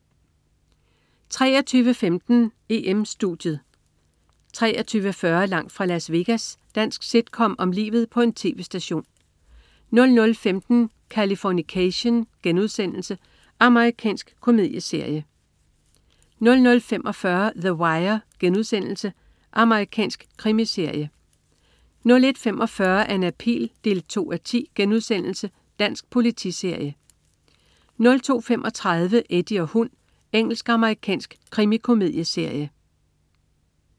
23.15 EM-Studiet 23.40 Langt fra Las Vegas. Dansk sitcom om livet på en tv-station 00.15 Californication.* Amerikansk komedieserie 00.45 The Wire.* Amerikansk krimiserie 01.45 Anna Pihl 2:10.* Dansk politiserie 02.35 Eddie og hund. Engelsk-amerikansk krimikomedieserie